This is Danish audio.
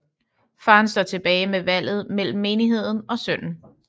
Faren står tilbage med valget mellem menigheden og sønnen